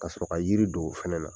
Ka sɔrɔ ka yiri don o fɛnɛ na.